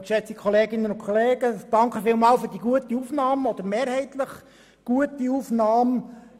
Vielen Dank für die mehrheitlich gute Aufnahme.